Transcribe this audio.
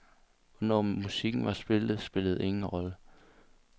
Hvornår musikken var skrevet, spillede ingen rolle.